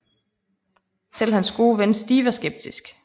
Selv hans gode ven Steve er skeptisk